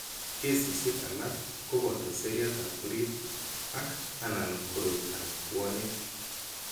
Kesishek alak ko boto seriatab orit ak/anan koroitoab puanik.